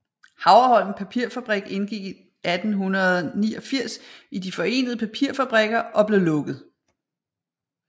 Havreholm Papirfabrik indgik i 1889 i De forenede Papirfabrikker og blev lukket